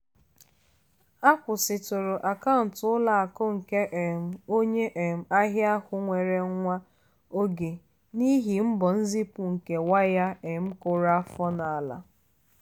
akwụsịtụrụ akaụntụ ụlọ akụ nke um onye um ahịa ahụ nwa oge n'ihi mbọ nzipụ nke waya um kụrụ afọ n'ala.